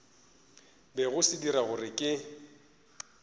bego se dira gore ke